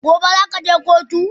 gobe zakaje kotu?